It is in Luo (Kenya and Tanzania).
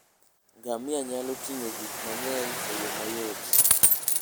Ngamia nyalo ting'o gik mang'eny e yo mayot.